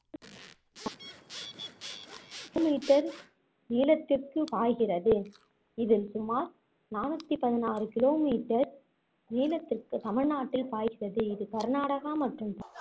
meter நீளத்திற்கு பாய்கிறது இதில் சுமார் நானூத்தி பதினாறு kilometer நீளத்திற்கு தமிழ்நாட்டில் பாய்கிறது இது கர்நாடகா மற்றும்